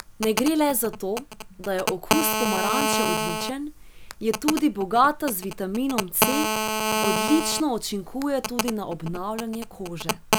Ne gre le za to, da je okus pomaranče odličen, je tudi bogata z vitaminom C, odlično učinkuje tudi na obnavljanje kože.